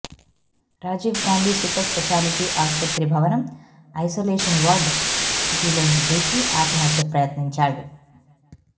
Rajiv Gandhi super speciality ఆస్పత్రి భవనం isolation ward కిటికీలోంచి దూకి ఆత్మహత్యకు ప్రయత్నించాడు